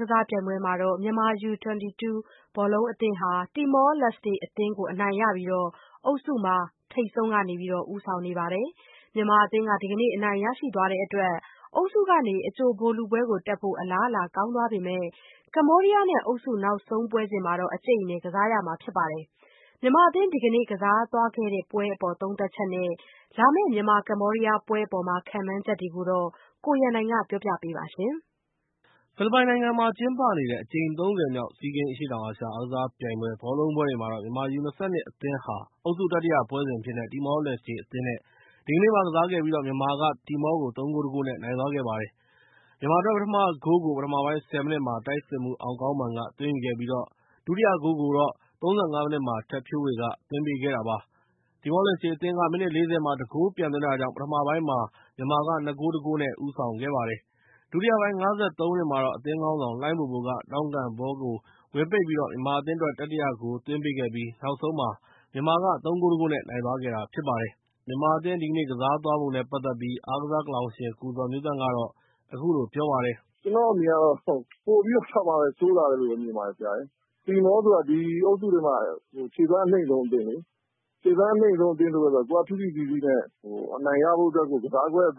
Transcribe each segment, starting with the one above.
ကစားပြိုင်ပွဲွမှာတော့ မြန်မာ ယူ-၂၂ ဘောလုံးအသင်းဟာ တီမောလက်စတေအသင်းကို အနိုင်ရပြီး အုပ်စုမှာ ထိပ်ဆုံးကနေ ဦးဆောင်နေပါတယ်။ မြန်မာအသင်းဟာ ဒီကနေ့ အနိုင်ရသွားတဲ့အတွက် အုပ်စုက အကြိုဗိုလ်လုပွဲတက်ဖို့ အလားအလာကောင်းသွားပေမယ့်၊ ကမ္ဘောဒီးယားနဲ့ အုပ်စုနောက်ဆုံးပွဲစဉ် အကြိတ်အနယ်ကစားရမှာဖြစ်ပါတယ်။ မြန်မာအသင်းဒီကနေ့ ကစားသွားခဲ့တဲ့ပွဲအပေါ်သုံးသပ်ချက် နဲ့ လာမယ့်ကမ္ဘောဒီးယားပွဲအပေါ် ခန့်မှန်းချက်တွေကို ကိုရန်နိုင်က ပြောပြပေးမှာဖြစ်ပါတယ်။ ဖိလစ်ပိုင်နိုင်ငံမှာကျင်းနေတဲ့ အကြိမ် ၃၀ မြောက် SEA Games အရှေ့တောင်အာရှ အားကစားပြိုင်ပွဲ ဘောလုံးပွဲတွေမှာတော့ မြန်မာ ယူ-၂၂ အသင်းဟာ အုပ်စု တတိယပွဲစဉ်အဖြစ်နဲ့ တီမောလက်စတေအသင်း နဲ့ ဒီကနေ့မှာ ကစားခဲ့ပြီး မြန်မာအသင်းက တီမောကို ၃ ဂိုး ၁ ဂိုး နဲ့ နိုင်သွားပါတယ်။ မြန်မာအသင်းအတွက် ပထမဂိုးကို ပထမပိုင်း ၁၀ မိနစ်မှာ တိုက်စစ်မှူးအောင်ကောင်းမာန်က အဖွင့်ဂိုးသွင်းခဲ့ပြီး၊ ၃၅ မိနစ်မှာ ထက်ဖြိုးဝေက မြန်မာအတွက် ဒုတိယဂိုးသွင်းပါတယ်။ တီမောလက်စတေအသင်း မိနစ် ၄၀ မှာ ၁ ဂိုး ပြန်သွင်းခဲ့တာကြောင့် ပထမပိုင်းမှာ ၂ ဂိုး ၁ ဂိုး နဲ့ ဦးဆောင်ခဲ့တာပါ။ ဒုတိယပိုင်း ၅၃ မိနစ်မှာတော့ အသင်းခေါင်းဆောင် လှိုင်းဘိုဘိုက ထောင့်ကန်ဘောကို ဝင်ပိတ်ပြီး မြန်မာအသင်းအတွက် တတိယ ဂိုးသွင်းပေးခဲ့ပြိး နောက်ဆုံးမှာ မြန်မာအသင်းက ၃ ဂိုး ၁ ဂိုး နဲ့ နိုင်သွားပါတယ်။ ဒီကနေ့ မြန်မာအသင်းကစားပုံနဲ့ ပတ်သက်ပြီး အားကစားကလောင်ရှင် ကိုဇော်မျိုးသန့် က အခုလို သုံးသပ်ပါတယ်။ “ကျနော့်အမြင်ကတော့ ပိုပြီးတေ့ာ ဆိုးလာတယ်လို့ပဲ မြင်ပါတယ်ဆရာရယ်၊ ဘာဖြစ်လို့လဲဆိုတော့ တီမောဆိုတာ ဒီအုပ်စုထဲမှာ ခြေလှမ်းအနိမ့်ဆုံးအသင်းလေ။ အနိမ့်ဆုံးအသင်းဆိုတော့ ကိုယ်က ဖိဖိစီးစီးနဲ့ အနိုင်ရဖို့အတွက်ကို ကစားကွက်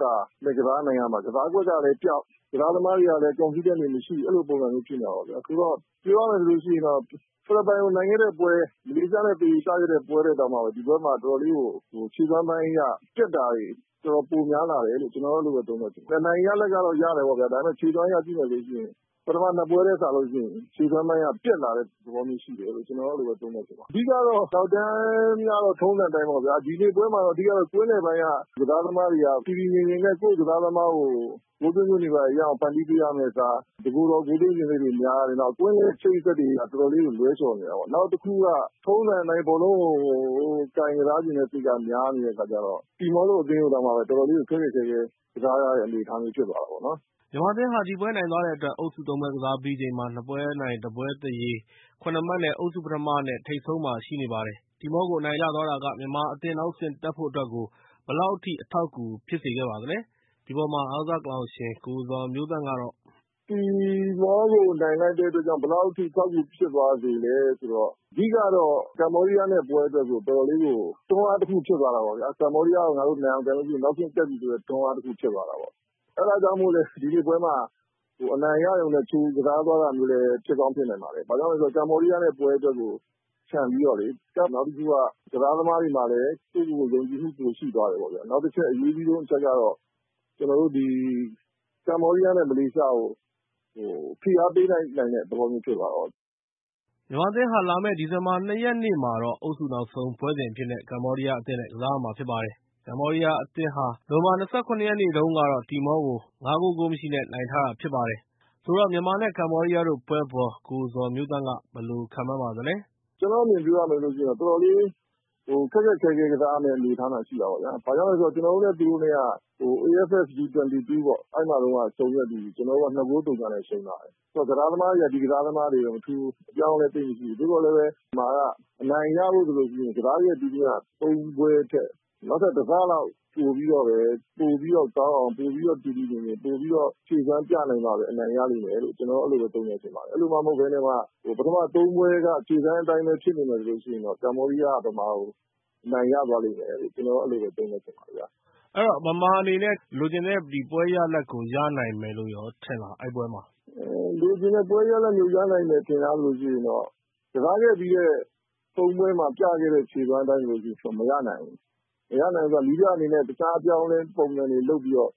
နဲ့ ကစားနိုင်ရမှာ။ ကစားကွက်ကလည်းပျောက်၊ ကစားသမားတွေကလည်း Confident မရှိ အဲလိုဖြစ်နေတယ်။ ပြောရရင်တော့ ဖိလစ်ပိုင်ကို နိုင်ခဲ့တဲ့ ပွဲ ၊ မလေးရှားနဲ့ သေရေကျခဲ့တဲ့ ပွဲထက်တောင်မှ ဒီပွဲမှာ ခြေလှမ်းပိုင်းအရ ပျက်တာတွေ တော်တော် များများ ရှိတယ်လို့ ကျနော်ကတော့ သုံးသပ်တယ်၊ အနိုင်ရတာကတော့ ရတယ်ပေါ့ဗျာ ဒါပေမယ့် ခြေလှမ်းအရတော့ ပထမ ၂ ပွဲထက်စာရင် ခြေလှမ်းပိုင်းက ပျက်လာတဲ့ သဘောမျိုးရှိတယ်လို့ ကျနော်ကျတော့ အဲလိုသုံးသပ်ချင်တယ်။ အဓိကတော့နောက်တန်းကတော့ ထုံးစံအတိုင်းပေါ့ဗျာ။ ဒီနေ့ပွဲမှာတော့ ကွင်းလယ်ပိုင်းက ကစားသမားတွေက တည်တည်ငြိမ်ငြိမ်နဲ့ ကိုယ့်ကစားသမားကို ဂိုးသွင်းခွင့်တွေရအောင် ဖန်တီးပေးရမယ့်အစား တကိုယ်တော် ဂိုးသွင်းချင်စိတ်တွေ များတယ်၊ နောက် ကွင်း အချိတ်အဆက်တွေအရ တော်တော်လေးကို လွဲချော်နေတယ် ၊ နောက်တခုက ထုံးစံအတိုင်း ဘော်လုံးကို တယောက်တည်း ကစားချင်တဲ့ စိတ်က များနေတဲ့အခါကျတော့ တီမောအသင်းကတောင်မှ တော်တော်လေးကို ခက်ခက်ခဲခဲ ကစားရတဲ့ နေအထားဖြစ်သွားတယ်။” မြန်မာအသင်းဟာ ဒီပွဲနိုင်သွားတဲ့အတွက် အုပ်စု ၃ ပွဲ ကစားပြီးချိန်ှမှာ ၂ ပွဲ နိုင် ၁ ပွဲ သရေ ၇ မှတ် နဲ့ အုပ်စုပထမနဲ့ ထိပ်ဆုံးမှာရှိနေပါတယ်။ တီမောကို အနိုင်ရသွားတာက မြန်မာအသင်းနောက်တဆင့်တက်ဖို့အတွက်ကိုဘယ်လောက်ထိ အထောက်အကူဖြစ်စေခဲ့ပြီး ၊ အုပ်စုကနေ တက်ပြီလို့ ပြောနိုင်မလား။ အားကစားကလောင်ရှင် ကိုဇော်မျိုးသန့် ကတော့ “တီမောကို နိုင်လိုက်တဲ့အတွက်ကြောင့် ဘယ်လောက်အထိဖြစ်သွားစေသလဲဆိုတော့ အဓိကတော့ ကမ္ဘောဒီးယားနဲ့ ပွဲအတွက်ကို တွန်းအားဖြစ်သွားတာပေါ့ဗျာ။ ကမ္ဘောဒီးယားကို ငါတို့ နိုင်အောင် ကန်ရင် နောက်တဆင့်တက်ပြီဆိုတဲ့ တွန်းအားတခုဖြစ်သွားတယ် အဲဒါကြောင့်မို့ ဒီနေ့ပွဲမှာ အနိုင်ရရုံနဲ့ ကြိုကစားသွားတာမျိုးလည်း ဖြစ်ကောင်းဖြစ်နိုင်ပါတယ်။ ဘာဖြစ်လို့လဲဆိုတော့ ကမ္ဘောဒီးယားနဲ့ ပွဲအတွက်ကို ချန်ပြီးတော့လေ ၊ နောက်တခုကတော့ ကစားသမားတွေကလည်း ယုံကြည်မှု ပိုရှိသွားတယ်ပေါ့။ နောက်အရေးကြီးဆုံးအချက်ကတော့ ကမ္ဘောဒီးယားနဲ့ မလေးရှားကို ဖိအားပေးလိုက်နိုင်တဲ့ သဘောမျိုးဖြစ်သွားတာပေါ့။” မြန်မာအသင်းဟာ လာမယ့် ဒီဇင်ဘာ ၂ ရက်နေ့မှာတော့ အုပ်စုနောက်ဆုံးပွဲစဉ်အဖြစ်နဲ့ ကမ္ဘောဒီးယားအသင်းနဲ့ ကစားရမှာပါ။ ကမ္ဘောဒီးယားအသင်းဟာ နိုဝင်ဘာ ၂၉ ရက်နေ့တုန်းကတော့ တီမောအသင်းကို ၅ ဂိုး ဂိုးမရှိ နဲ့ နိုင်ထားပါတယ်။ ဆိုတော့ မြန်မာနဲ့ ကမ္ဘောဒီးယားတို့ပွဲကို အားကစားကလောင်ရှင် ကိုဇော်မျိုးသန့် က ဘယ်လိုခန့်မှန်းပါသလဲ။ “ကျနော့်အမြင်ပြောရမယ်ဆိုရင် တော်တော်လေး ခက်ခက်ခဲခဲ ကစားရမယ့်အနေအထားမှာရှိတယ်။ ဘာဖြစ်လို့လဲဆိုတော့ ကျနော်တို့နဲ့ သူတို့က AFF ယူ-၂၂ ပွဲမှာတုန်းက ဆုံခဲ့ပြီးပြီ။ ကျနော်တို့က ၂ ဂိုး ဂိုးမရှိနဲ့ ရှုံးထားတယ်။ ကစားသမားတွေကတော့ ဒီကစားသမားတွေပဲ အပြောင်းအလဲ သိပ်မရှိဘူး။ သို့သော်လည်း အနိုင်ရဖို့ဆိုရင် ကစားသမားတွေက ပိုပြီးတော့ကောင်းအောင်၊ ပိုပြီးတော့ တည်တည်ငြိမ်ငြိမ်၊ ပိုပြီးတေ့ာ ဖြည့်စွမ်းပြနိုင်မှပဲ အနိုင်ရမယ်လို့ အဲလိုပဲ သုံးသပ်ချင်တယ်။ အဲလိုမှ မဟုတ်ပဲနဲ့ ပထမ ၃ ပွဲတုန်းက ခြေလှမ်းအတိုင်းပဲ ဖြစ်နေမယ်ဆိုရင် ကမ္ဘောဒီးယားက မြန်မာကို အနိုင်ရသွားမယ်လို့ ကျနော်ကတော့ အဲလိုသုံးသပ်ချင်တယ်။ မေး ။ ။ အဲဒီတော့ မြန်မာအနေနဲ့ လိုချင်တဲ့ ဒီပွဲရလဒ်ကို ရဖို့ ရနိုင်မယ်လို့ ထင်လား ၊ အဲဒီပွဲမှာ။ ဖြေ။ ။ လိုချင်တဲ့ ပွဲရလာဒ်မျိုး ရနိုင်မယ် ထင်လားဆိုရင်တော့ ကစားခဲ့ပြီးတဲ့ ၃ ပွဲမှာ ပြခဲ့တဲ့ ခြေစွမ်းတိုင်းဆိုရင်တော့ မရနိုင်ဘူး။ မရနိုင်ဘူးဆိုတာ နည်းပြအနေနဲ့ တခြား အပြောင်းအလဲပုံစံတွေ လုပ်ပြီးတော့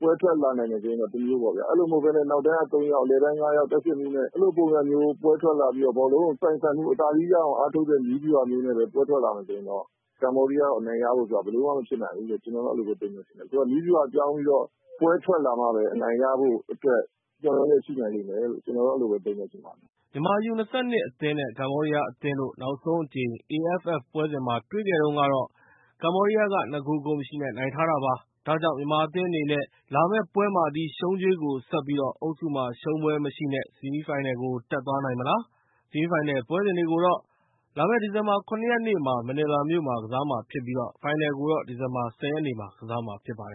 ပွဲထွက်လာနိုင်တယ်ဆိုရင်တော့ တမျိုးပေါ့။ အဲ့ဒီလိုမဟုတ်ဘဲနဲ့ အနောက်တန်းက ၃ ယောက်၊ အလယ်တန်း ၅ ယောက်၊ တိုက်စစ်မှူးနဲ့ အဲ့ဒီလိုပုံစံမျိုး ပွဲထွက်လာပြီးတော့ ဘောလုံးကို အပိုင်ကန်ပြီးတော့ အသာစီးရအောင် အားထုတ်တဲ့ နည်းဗျုဟာမျိုးနဲ့ပဲ ပွဲထွက်လာနိုင်တယ်ဆိုရင်တော့ ကမ္ဘောဒီးယားကို အနိုင်ရဖို့ဆိုတာ ဘယ်လိုမှ မဖြစ်နိုင်ဘူးလို့ ကျနော်တော့ အဲ့ဒီလိုမျိုး ပဲထင်တယ်ဗျ။ နည်းဗျုဟာပြောင်းပြီးတော့ ပွဲထွက်လာမှပဲ အနိုင်ရဖို့ အတွက် မျှော်လင့်ချက်ရှိနိုင်လိမ့်မယ်လို့ ကျနော်တော့ အဲ့ဒီလိုပဲ သုံးသပ်ချင်ပါတယ်။” မြန်မာအသင်း နဲ့ ကမ္ဘောဒီးယားတို့ နောက်ဆုံးအကြိမ် AFF ယူ-၂၂ ပွဲ မှာ တွေ့ခဲ့တုန်းက ကမ္ဘောဒီးယားက ၂ ဂိုး ဂိုးမရှိ နဲ့ နိုင်ထားတာပါ။ ဒါကြောင့် မြန်မာအသင်းအနေနဲ့ အဲဒီရှုံးကြွေးကို ဆပ်ပြီး အုပ်စုမှာ ရှုံးပွဲမရှိနဲ့အကြိုဗိုလ်လုပွဲကို တက်နိုင်မလား။ ဆီမီးဖိုင်နယ်ပွဲစဉ်တွေကိုတော့ မနီလာမြို့မှာ လာမယ့် ဒီဇင်ဘာ ၇ ရက်နေ့မှာ ကစားကြမှာဖြစ်ပြီး၊ ဖိုင်နယ်ကိုတော့ ဒီဇင်ဘာ ၁၀ ရက်နေ့မှာ ကစားကြမှာဖြစ်ပါတယ